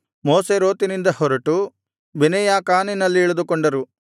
ಮೋಸೇರೋತಿನಿಂದ ಹೊರಟು ಬೆನೇಯಾಕಾನಿನಲ್ಲಿ ಇಳಿದುಕೊಂಡರು